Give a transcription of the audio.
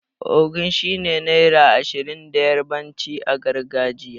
Ogun' shine naira Ashirin da yarbanci a gargajiya.